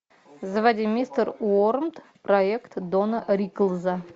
заводи мистер уормт проект дона риклза